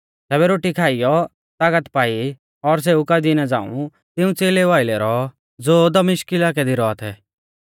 तैबै रोटी खाइऔ तागत पाई और सेऊ कई दिना झ़ांऊ तिऊं च़ेलेऊ आइलै रौऔ ज़ो दमिश्क इलाकै दी रौआ थै